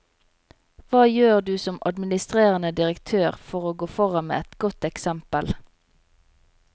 Hva gjør du som administrerende direktør for å gå foran med et godt eksempel?